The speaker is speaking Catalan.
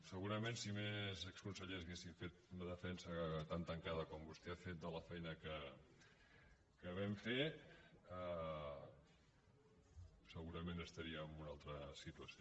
segurament si més consellers haguessin fet una defensa tan tancada com vostè ha fet de la feina que vam fer segurament estaríem en una altra situació